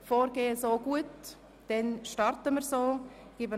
Sind Sie mit diesem Vorgehen einverstanden?